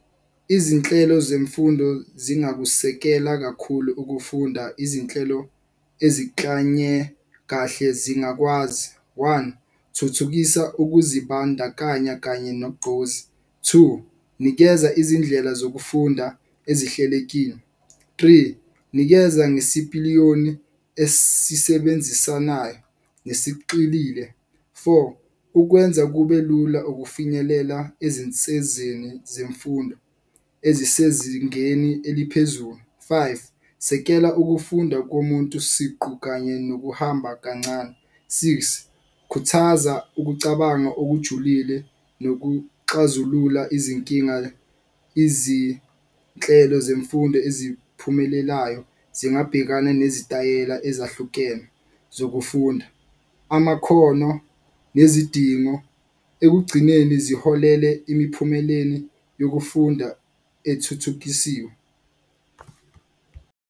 Izinhlelo zemfundo zingakusekela kakhulu ukufunda izinhlelo eziklanye kahle zingakwazi. One thuthukisa ukuzibandakanya kanye nogqozi, two nikeza izindlela zokufunda ezihlelekile, three nikeza ngesipiliyoni esisebenzisanayo nesixilile. Four ukwenza kube lula ukufinyelela ezinsezeni zemfundo ezisezingeni eliphezulu, five sekela ukufunda komuntu siqu kanye nokuhamba kancane. Six khuthaza ukucabanga okujulile nokuxazulula izinkinga. Izinhlelo zemfundo eziphumelelayo zingabhekana nezitayela ezahlukene zokufunda. Amakhono nezidingo ekugcineni ziholele imiphumeleni yokufunda ethuthukisiwe.